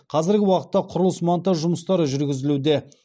қазіргі уақытта құрылыс монтаж жұмыстары жүргізілуде